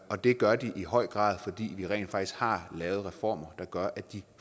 og det gør de i høj grad fordi vi rent faktisk har lavet reformer der gør at de